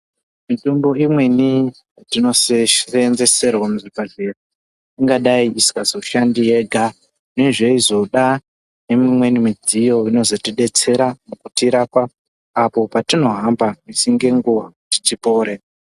Mitombo imweni yatino seenzeserwa muzvibhedhleya ingadai isingazoshandi yega, zvayizoda nemwiyeni midziyo inozotidetsera